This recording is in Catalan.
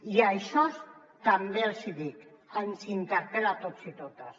i això també els hi dic ens interpel·la a tots i a totes